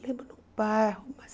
Lembro no bairro, mas...